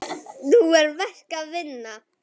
Nú er verk að vinna.